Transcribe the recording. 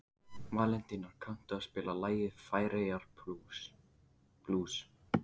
Valentína, kanntu að spila lagið „Færeyjablús“?